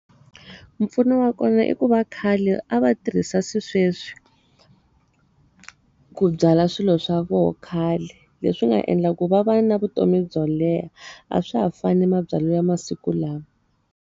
Mpfuno wa kona i ku va khale a va tirhisa sweswi ku byala swilo swa vona khale. Leswi nga endla ku va va na vutomi byo leha. A swa ha fani ni ma byalo ya masiku lawa.